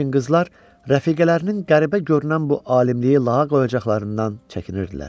Lakin qızlar rəfiqələrinin qəribə görünən bu alimliyi lağa qoyacaqlarından çəkinirdilər.